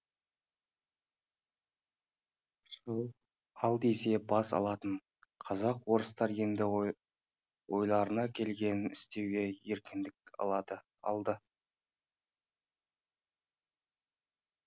шаш ал десе бас алатын қазақ орыстар енді ойларына келгенін істеуге еркіндік алды